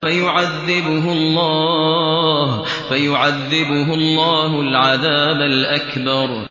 فَيُعَذِّبُهُ اللَّهُ الْعَذَابَ الْأَكْبَرَ